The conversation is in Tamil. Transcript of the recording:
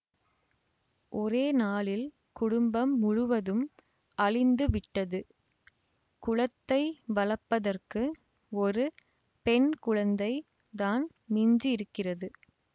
ஒரே நாளில் குடும்பம் முழுவதும் அழிந்து விட்டது குலத்தை வளப்பதற்கு ஒரு பெண் குழந்தை தான் மிஞ்சியிருக்கிறது